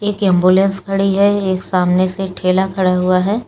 एक एंबुलेंस खड़ी है एक सामने से ठेला खड़ा हुआ है।